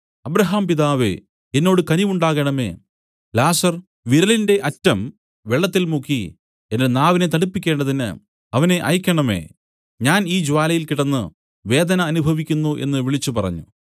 അബ്രാഹാംപിതാവേ എന്നോട് കനിവുണ്ടാകേണമേ ലാസർ വിരലിന്റെ അറ്റം വെള്ളത്തിൽ മുക്കി എന്റെ നാവിനെ തണുപ്പിക്കേണ്ടതിന് അവനെ അയയ്ക്കേണമേ ഞാൻ ഈ ജ്വാലയിൽ കിടന്ന് വേദന അനുഭവിക്കുന്നു എന്നു വിളിച്ചു പറഞ്ഞു